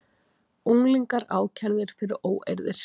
Unglingar ákærðir fyrir óeirðir